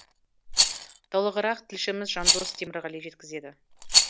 толығырақ тілшіміз жандос темірғали жеткізеді